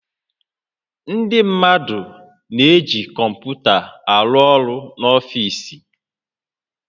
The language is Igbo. Ndị mmadụ na-eji kọmputa arụ ọrụ n'ọfiisi